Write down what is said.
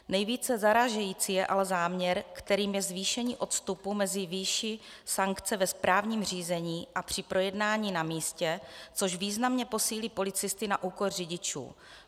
Nejvíce zarážející je ale záměr, kterým je zvýšení odstupu mezi výší sankce ve správním řízení a při projednání na místě, což významně posílí policisty na úkor řidičů.